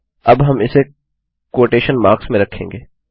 अब हम इसे क्वोटेशन मार्क्स में रखेंगे